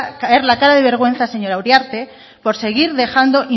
caer la cara de vergüenza señora uriarte por seguir dejando